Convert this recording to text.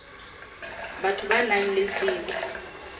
batho ba nang le tsebo